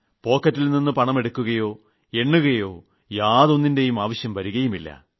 പോക്കറ്റിൽ നിന്ന് പണം എടുക്കുകയോ എണ്ണുകയോ യാതൊന്നിന്റെയും ആവശ്യം വരുകയില്ല